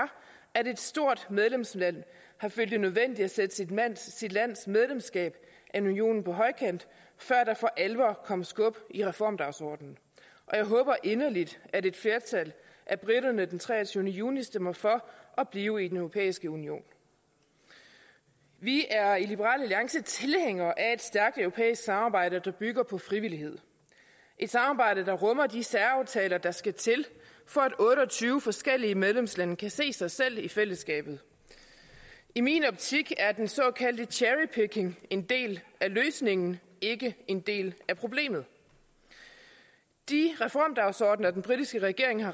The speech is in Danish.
at et stort medlemsland har følt det nødvendigt at sætte sit medlemskab af unionen på højkant før der for alvor kom skub i reformdagsordenen og jeg håber inderligt at et flertal af briterne den treogtyvende juni stemmer for at blive i den europæiske union vi er i liberal alliance tilhængere af et stærkt europæisk samarbejde der bygger på frivillighed et samarbejde der rummer de særaftaler der skal til for at otte og tyve forskellige medlemslande kan se sig selv i fællesskabet i min optik er den såkaldte cherry picking en del af løsningen ikke en del af problemet de reformdagsordener den britiske regering har